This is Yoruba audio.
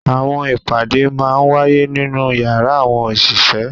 Awọn ipade màa ǹ waye ninu yara awọn oṣiṣẹ